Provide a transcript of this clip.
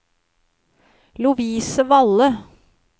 Lovise Valle